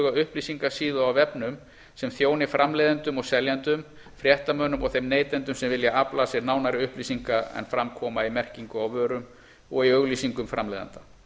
upplýsingasíðu á vefnum sem þjóni framleiðendum og seljendum fréttamönnum og þeim neytendum sem vilja afla sér nánari upplýsinga en fram koma í merkingu á vörum og í auglýsingum framleiðenda